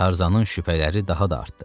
Tarzanın şübhələri daha da artdı.